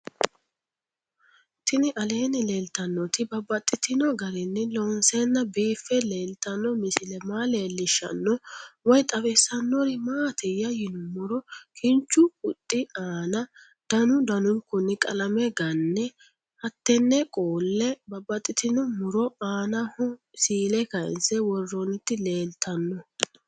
Tinni aleenni leelittannotti babaxxittinno garinni loonseenna biiffe leelittanno misile maa leelishshanno woy xawisannori maattiya yinummoro kinchu huxxi aanna danu danunkunni qalame ganne hattenni qolle babaxxittinno muro aannaho siille kayinse woroonnitti leelittanno